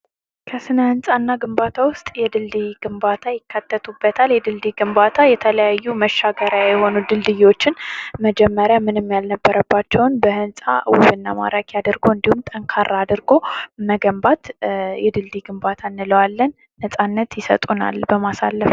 ከስነ ህንፃ እና ግንባታ ዉስጥ የድልድይ ግንባታ ይካተቱበታል:: የድልድይ ግንባታ የተለያዩ መሻገሪያ የሆኑ ድልድዮችን መጀመሪያ ምንም ያልነበረባቸውን በሕንፃ ዉብና ማራኪ አድርጎ እንዲሁም ጠንካራ አድርጎ መገንባት የድልድይ ግንባታ እንለዋለን:: ነፃነት ይሰጡናል ለማሳለፍ::